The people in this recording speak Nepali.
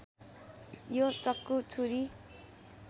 यो चक्कु छुरी